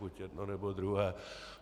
Buď jedno, nebo druhé.